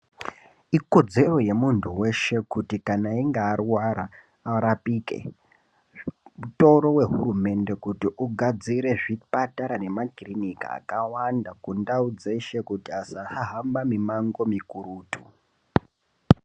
Ikodzero yemuntu weshe kuti kana einge arwara arapike mutoro wehurumende kuti ugadzire zvipatara nemakiliniki akawanda kundau dzeshe kuti asa hamba mumango mukurutu.